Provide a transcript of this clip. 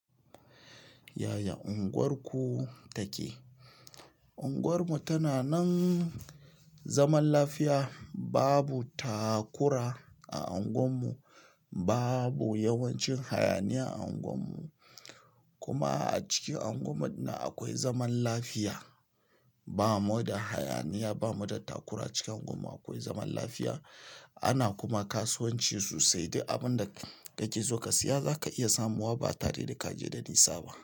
Yaya unguwarku take? Unguwarmu tana nan zaman lafiya. Babu takura a unguwarmu, babu yawancin hayaniya a unguwarmu. Kuma a cikin unguwarmu ɗin nan akwai zaman lafiya. Ba mu da hayaniya, ba mu da takura. Cikin unguwar mu akwai zaman lafiya. Ana kuma kasuwanci sosai. Duk abin da kake so ka siya zaka iya samowa ba tare da ka je da nisa ba.